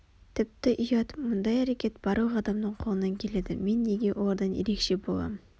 тіпті ұят мұндай әрекет барлық адамның қолынан келеді мен неге олардан ерекше болам